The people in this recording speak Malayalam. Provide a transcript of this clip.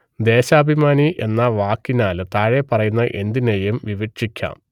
ദേശാഭിമാനി എന്ന വാക്കിനാൽ താഴെപ്പറയുന്ന എന്തിനേയും വിവക്ഷിക്കാം